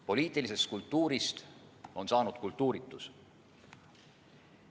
Poliitilisest kultuurist on saanud kultuuritus.